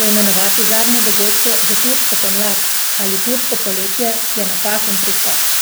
'Poimenovati zadnje dogodke za 'turško pomlad' ali 'turško poletje' je napačen pristop.